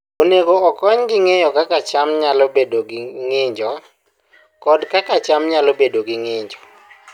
Onego okonygi ng'eyo kaka cham nyalo bedo gi ng'injo, kod kaka cham nyalo bedo gi ng'injo.